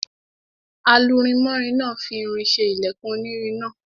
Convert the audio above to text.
Alurinmọ́rin náà fi irin ṣe ilẹkùn onírin náà.